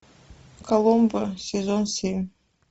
коломбо сезон семь